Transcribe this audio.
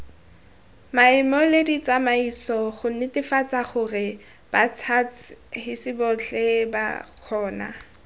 maemoleditsamaiso gonetefatsagorebats huts hisibotlheba kgona